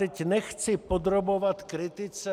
Teď nechci podrobovat kritice...